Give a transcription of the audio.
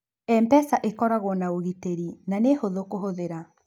Mpesa ĩkoragũo na ũgitĩri na nĩ hũthũ kũhũthĩra.